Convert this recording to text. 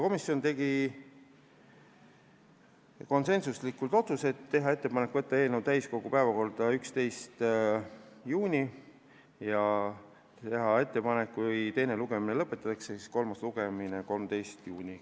Komisjon tegi konsensuslikud otsused: teha ettepanek võtta eelnõu täiskogu 11. juuni istungi päevakorda ja kui teine lugemine lõpetatakse, siis viia kolmas lugemine läbi 13. juunil.